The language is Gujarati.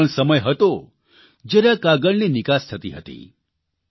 એક એ પણ સમય હતો જયારે આ કાગળની નિકાસ થતી હતી